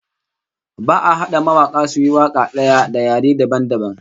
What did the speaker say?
Ba'a hada mawaka suyi waka daya da yare dabam dabam